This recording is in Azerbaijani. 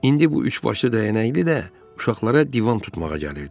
İndi bu üçbaşlı dəyənəkli də uşaqlara divan tutmağa gəlirdi.